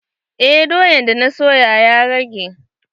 Eh doyan da na soya ya rage.